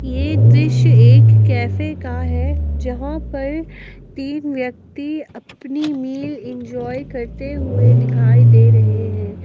यह दृश्य एक कैफे का है जहां पर तीन व्यक्ति अपनी मील इंजॉय करते हुए दिखाई दे रहे हैं।